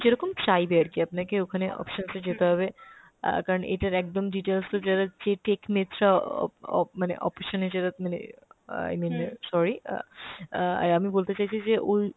যেরকম চাইবে আরকি, আপনাকে ওখানে options এ যেতে হবে অ্যাঁ কারণ এটার একদম details টা যারা যে tech অপ~ অপ~ মানে option এ যারা মানে i mean sorry অ্যাঁ অ্যাঁ আমি বলতে চাইছি যে ওই